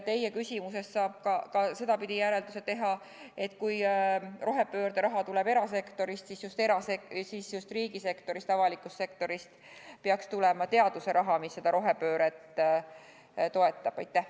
Teie küsimusest saab ka sedapidi järelduse teha, et kui rohepöörde raha tuleb erasektorist, siis just riigisektorist, avalikust sektorist peaks tulema teaduse raha, mis seda rohepööret toetab.